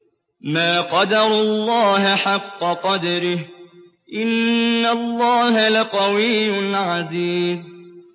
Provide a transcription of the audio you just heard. مَا قَدَرُوا اللَّهَ حَقَّ قَدْرِهِ ۗ إِنَّ اللَّهَ لَقَوِيٌّ عَزِيزٌ